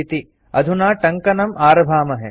अधुना टङ्कनम् टाइपिंग आरभामहे